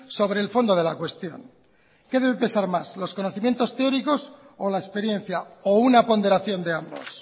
sobre el fondo de la cuestión qué debe pesar más los conocimientos teóricos o la experiencia o una ponderación de ambos